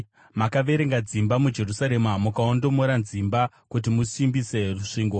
Makaverenga dzimba muJerusarema, mukaondomora dzimba kuti musimbise rusvingo.